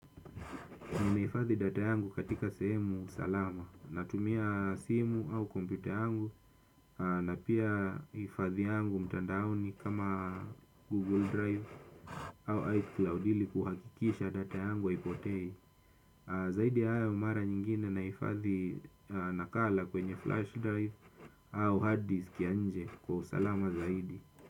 Ninahifadhi data yangu katika sehemu salama. Natumia simu au kompyuta yangu na pia hifadhi yangu mtandaoni kama Google Drive au iCloud ili kuhakikisha data yangu haipotei. Zaidi haya mara nyingine nahifadhi nakala kwenye Flash Drive au hard disk ya nje kwa usalama zaidi.